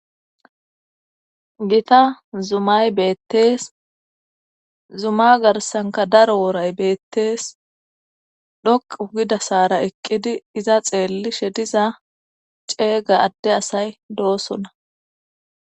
Gita zumay beettees. Zuma garsanikka daro wooray beettees. Xoqqu gidda saara eqqidi iza xeellishe diza ceegga adde asay doosona.